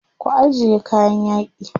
Ku ajiye kayan yaƙi.